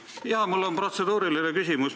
Jaa, mul on protseduuriline küsimus.